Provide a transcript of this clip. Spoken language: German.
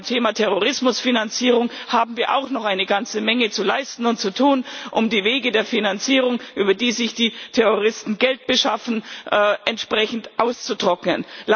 Und beim Thema Terrorismusfinanzierung haben wir auch noch eine ganze Menge zu leisten und zu tun, um die Wege der Finanzierung, über die sich die Terroristen Geld beschaffen, auszutrocknen.